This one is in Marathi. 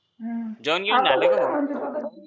अं जेवण बिवणं झालं का भो